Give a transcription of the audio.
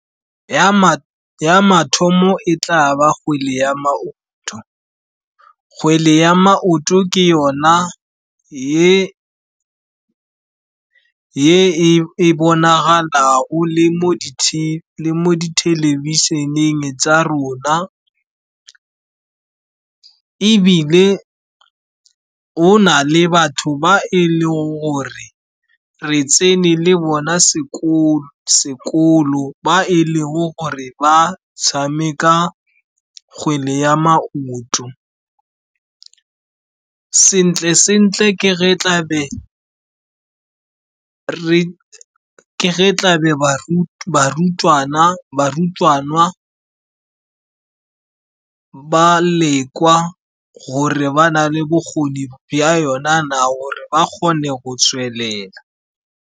Ya mathomo e tla ba kgwele ya maoto. Kgwele ya maoto ke yona ye e bonagalago le mo thelebišeneng tsa rona, ebile go nale batho ba e leng gore re tsene le bona sekolo, ba e leng gore ba tshameka kgwele ya maoto. Sentle-sentle, ke ge tlabe barutwana ba lekwa gore ba na le bokgoni bya yona na, gore ba kgone go tswelela.